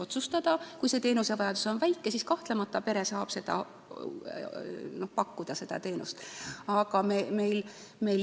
Kui inimese teenusevajadus on väike, siis kahtlemata saab pere seda teenust pakkuda.